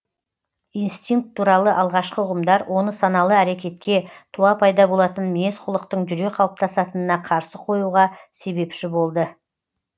инстинкт туралы алғашқы ұғымдар оны саналы әрекетке туа пайда болатын мінез құлықтың жүре қалыптасатынына қарсы қоюға себепші болды